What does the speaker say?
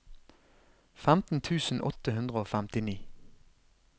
femten tusen åtte hundre og femti